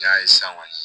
Ja ye san kɔni